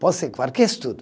Pode ser qualquer estudo.